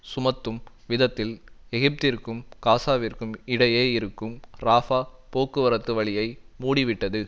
சுமத்தும் விதத்தில் எகிப்திற்கும் காசாவிற்கும் இடையே இருக்கும் ராபா போக்குவரத்து வழியை மூடிவிட்டது